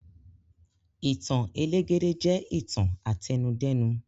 Ìtàn elégédé jẹ ìtàn àtẹnudẹ́nu.